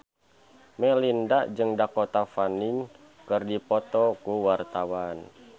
Melinda jeung Dakota Fanning keur dipoto ku wartawan